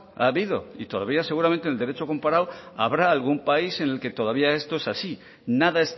ha habido y todavía seguramente en el derecho comparado habrá algún país en el que todavía esto es así nada